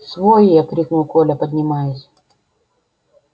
свой я крикнул коля поднимаясь